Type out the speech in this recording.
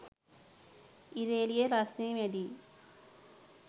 ඉර එළිය රස්නෙ වැඩියි